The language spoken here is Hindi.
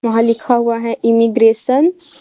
वहा लिखा हुआ है इमीग्रेशन ।